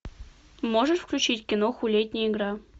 можешь включить киноху летняя игра